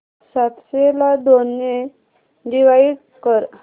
सातशे ला दोन ने डिवाइड कर